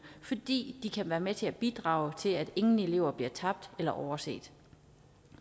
fordi de kan være med til at bidrage til at ingen elever bliver tabt eller overset